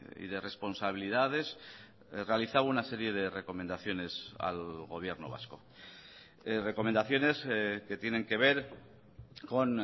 y de responsabilidades realizaba una serie de recomendaciones al gobierno vasco recomendaciones que tienen que ver con